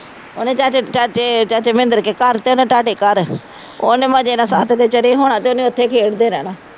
ਉਹਨੇ ਜਾ ਕੇ ਚਾਚੇ ਚਾਚੇ ਮਹਿੰਦਰ ਦੇ ਘਰ ਤੇ ਤੁਹਾਡੇ ਘਰ ਉਹ ਮੈਂ ਜਿਹੜਾ ਛੱਤ ਤੇ ਚੜ੍ਹੀ ਹੋਣਾ ਅਤੇ ਉਹਨੇ ਉੱਥੇ ਖੇਡਦੇ ਰਹਿਣਾ